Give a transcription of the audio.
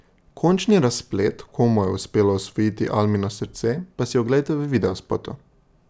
Končni razplet komu je uspelo osvojiti Almino srce, pa si oglejte v videospotu.